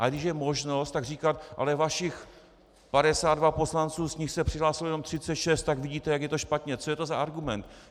A když je možnost, tak říkat "ale vašich 52 poslanců, z nich se přihlásilo jenom 36, tak vidíte, jak je to špatně" - co je to za argument!